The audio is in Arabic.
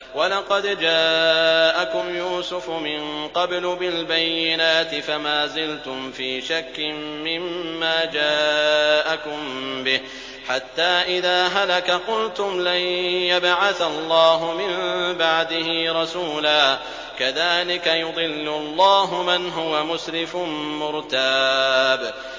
وَلَقَدْ جَاءَكُمْ يُوسُفُ مِن قَبْلُ بِالْبَيِّنَاتِ فَمَا زِلْتُمْ فِي شَكٍّ مِّمَّا جَاءَكُم بِهِ ۖ حَتَّىٰ إِذَا هَلَكَ قُلْتُمْ لَن يَبْعَثَ اللَّهُ مِن بَعْدِهِ رَسُولًا ۚ كَذَٰلِكَ يُضِلُّ اللَّهُ مَنْ هُوَ مُسْرِفٌ مُّرْتَابٌ